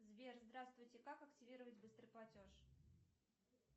сбер здравствуйте как активировать быстрый платеж